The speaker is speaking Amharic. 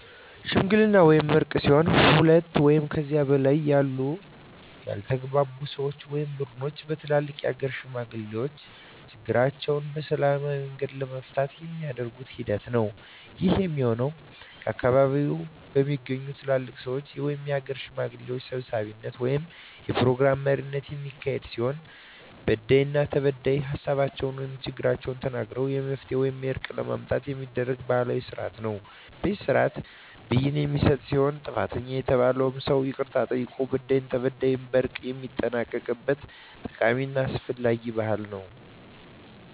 ሽምግልና ወይም እርቅ ሲሆን ሁለት ወይም ከዚያ በላይ ያሉ ያልተግባቡ ሰወች ወይም ቡድኖች በትልልቅ የሀገር ሽማግሌዎች ችግራቸዉን በሰላማዊ መንገድ ለመፍታት የሚደረግ ሂደት ነዉ። ይህም የሚሆን ከአካባቢዉ በሚገኙ ትልልቅ ሰወች(የሀገር ሽማግሌዎች) ሰብሳቢነት(የፕሮግራም መሪነት) የሚካሄድ ሲሆን በዳይና ተበዳይ ሀሳባቸዉን(ችግሮቻቸዉን) ተናግረዉ መፍትሄ ወይም እርቅ ለማምጣት የሚደረግ ባህላዊ ስርአት ነዉ። በዚህ ስርአትም ብይን የሚሰጥ ሲሆን ጥፋተኛ የተባለዉም ሰዉ ይቅርታ ጠይቆ በዳይም ተበዳይም በእርቅ የሚጠናቀቅበት ጠቃሚና አስፈላጊ ባህል ነዉ።